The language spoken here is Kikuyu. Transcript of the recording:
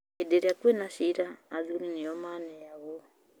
Hĩndĩ ĩrĩa kwĩna shira, athuri nĩo maneagwo